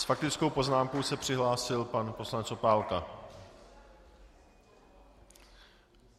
S faktickou poznámkou se přihlásil pan poslanec Opálka.